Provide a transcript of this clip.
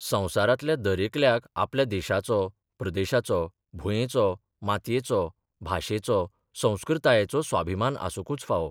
संवसारांतल्या दरेकल्याक आपल्या देशाचो, प्रदेशाचो, भुंयेचो, मातयेचो, भाशेचो, संस्कृतायेचो स्वाभिमान आसुंकूच फावो.